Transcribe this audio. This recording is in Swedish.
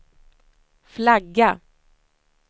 flagga